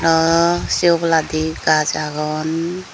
aah se oboladi gaj agon.